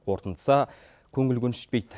қорытындысы көңіл көншітпейді